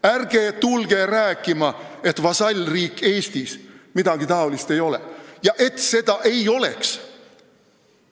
Ärge tulge rääkima, et Eesti-suguses vasallriigis midagi sellist ei ole!